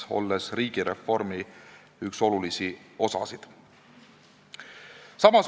Nii on tegu riigireformi olulise osaga.